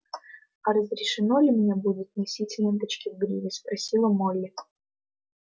а разрешено ли мне будет носить ленточки в гриве спросила молли